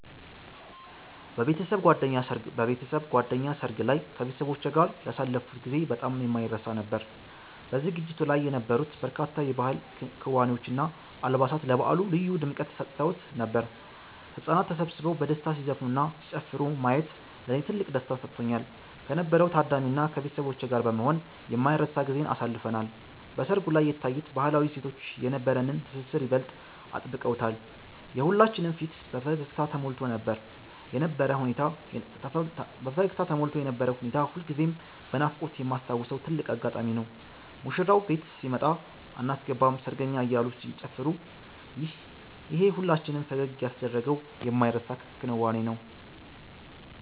በቤተሰብ ጓደኛ ሰርግ ላይ ከቤተሰቦቼ ጋር ያሳለፍኩት ጊዜ በጣም የማይረሳ ነበር። በዝግጅቱ ላይ የነበሩት በርካታ የባህል ክዋኔዎች እና አልባሳት ለበዓሉ ልዩ ድምቀት ሰጥተውት ነበር። ህጻናት ተሰብስበው በደስታ ሲዘፍኑና ሲጨፍሩ ማየት ለኔ ትልቅ ደስታን ሰጥቶኛል። ከነበረው ታዳሚ እና ከቤተሰቦቼ ጋር በመሆን የማይረሳ ጊዜን አሳልፈናል። በሰርጉ ላይ የታዩት ባህላዊ እሴቶች የነበረንን ትስስር ይበልጥ አጥብቀውታል። የሁላችንም ፊት በፈገግታ ተሞልቶ የነበረው ሁኔታ ሁልጊዜም በናፍቆት የማስታውሰው ትልቅ አጋጣሚ ነው። ሙሽራው ቤት ሲመጣ አናስገባም ሰርገኛ አያሉ ሲጨፋሩ ይሄ ሁላችንም ፈገግ ያስደረገው የማይረሳ ክንዋኔ ነው